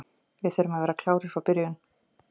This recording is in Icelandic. Við þurfum að vera klárir frá byrjun.